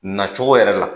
Na cogo yɛrɛ la